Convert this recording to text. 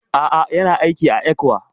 A'a, Yana aiki a ECWA